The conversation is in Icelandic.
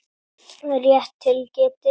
Rétt til getið.